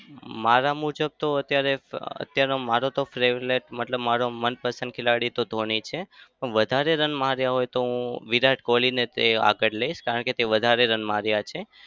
મારા મુજબ તો અત્યારે અમ અત્યારે મારો તો favorite મતલબ મારો મનપસંદ ખેલાડી તો ધોની છે. પણ વધારે રન માર્યા હોય તો હું વિરાટ કોહલીને જ આગળ લઈશ. કારણે તે વધારે રન માર્યા છે.